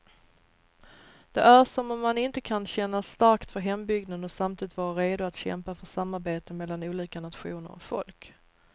Det är som om man inte kan känna starkt för hembygden och samtidigt vara redo att kämpa för samarbete mellan olika nationer och folk.